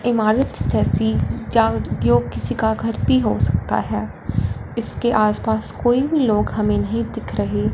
इमारत जैसी या जो किसी का घर भी हो सकता है इसके आस पास कोई लोग हमें नहीं दिख रहे--